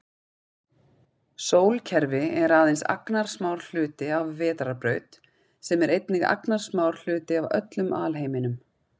Sólkerfi er aðeins agnarsmár hluti af vetrarbraut sem er einnig agnarsmár hluti af öllum alheiminum.